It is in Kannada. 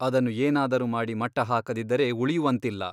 ಅದನ್ನು ಏನಾದರೂ ಮಾಡಿ ಮಟ್ಟಹಾಕದಿದ್ದರೆ ಉಳಿಯುವಂತಿಲ್ಲ.